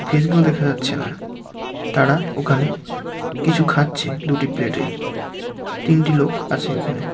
Face -গুলো দেখা যাচ্ছে না তারা ওখানে কিছু খাচ্চে দুটি প্লেট -এ তিনটি লোক আছে এখানে।